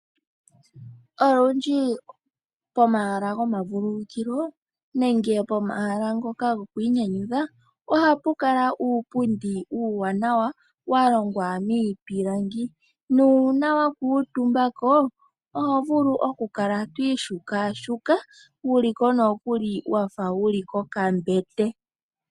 Olundji pomahala gomavululukilo nenge pomahala ngoka go kwiinyanyudha, ohapu kala uupundi uuwanawa, wa longwa miipilangi, nuuna wa kuutumbako oho vulu oku kala twii shukashuka, wuliko nokuli wafa wuli komabete.